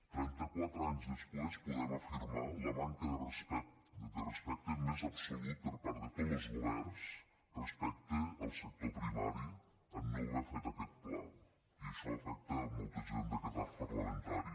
trenta quatre anys després podem afirmar la manca de respecte més absolut per part de tots los governs respecte al sector primari en no haver fet aquest pla i això afecta molta gent d’aquest arc parlamentari